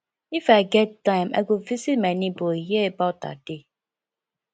if i get time i go visit my neighbour hear about her day